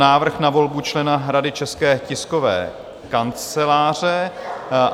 Návrh na volbu člena Rady České tiskové kanceláře